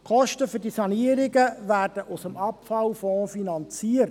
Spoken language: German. Die Kosten für die Sanierungen werden aus dem Abfallfonds finanziert.